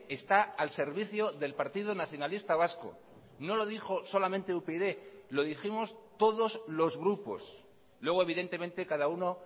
está al servicio del partido nacionalista vasco no lo dijo solamente upyd lo dijimos todos los grupos luego evidentemente cada uno